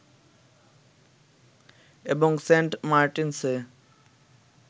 এবং সেন্ট মার্টিনসে